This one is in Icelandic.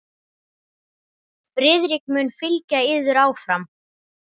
Friðrik mun fylgja yður áfram.